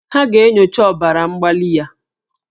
Ha ga-enyocha ọbara mgbali ya